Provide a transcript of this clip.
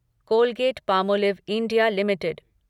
Colgate Palmolive India limited